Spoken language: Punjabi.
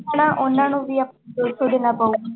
ਹਨਾ ਉਹਨਾਂ ਨੂੰ ਵੀ ਦੋ ਸੌ ਦੇਣਾ ਪਊਗਾ।